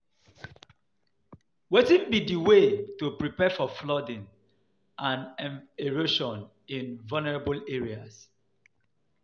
Wetin be di way to prepare for flooding and um erosion in vulnerable areas?